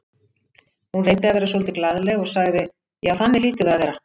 Hún reyndi að vera svolítið glaðleg og sagði: Já, þannig hlýtur það að vera